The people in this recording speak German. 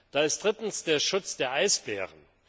Da ist drittens der Schutz der Eisbären.